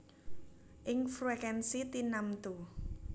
Ing frekuènsi tinamtu